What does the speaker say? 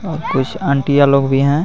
और कुछ ऑन्टीया लोग भी हे.